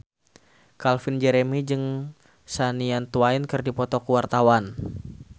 Calvin Jeremy jeung Shania Twain keur dipoto ku wartawan